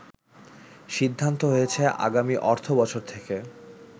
সিদ্ধান্ত হয়েছে আগামী অর্থ বছর থেকে